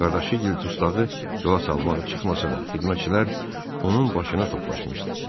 Qardaşı Gil dustağı yola salmağa çıxmasa da, xidmətçilər onun başına toplaşmışdı.